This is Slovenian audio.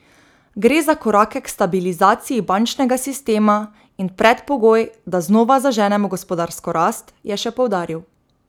Gre za korake k stabilizaciji bančnega sistema in predpogoj, da znova zaženemo gospodarsko rast, je še poudaril.